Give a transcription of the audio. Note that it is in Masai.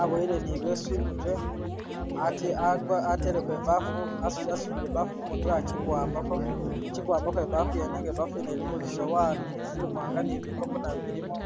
aboyele ni ileesu imutwe ate agwa ateleko ibaafu asu asudile ibaafu kumutye akikuwambako akikuwambako ibaafu yenne nenga ibaafu yenne ilimo zisowani zimwanga ni bikopo nabyo bilimo